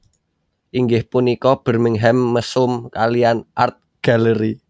Inggih punika Birmingham Mesum kaliyan Art Gallery